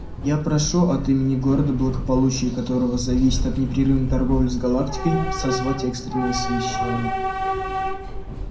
я прошу от имени города благополучие которого зависит от непрерывной торговли с галактикой созвать экстренное совещание